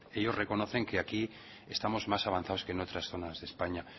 ellos reconocen que aquí estamos más avanzados que en otras zonas de españa